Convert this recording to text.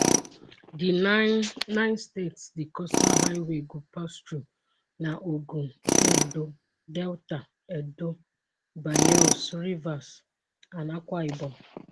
di 9 nine states di coastal highway go pass thru na ogun ondo delta edo bayels rivers and akwa ibom